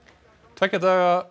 tveggja daga